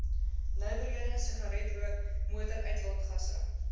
nywerhede sigaretrook motoruitlaatgasse